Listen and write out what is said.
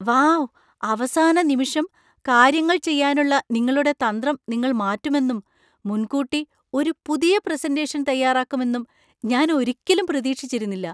Wow ! അവസാന നിമിഷം കാര്യങ്ങൾ ചെയ്യാനുള്ള നിങ്ങളുടെ തന്ത്രം നിങ്ങൾ മാറ്റുമെന്നും, മുൻകൂട്ടി ഒരു പുതിയ പ്രസന്‍റേഷൻ തയ്യാറാക്കുമെന്നും ഞാൻ ഒരിക്കലും പ്രതീക്ഷിച്ചിരുന്നില്ല.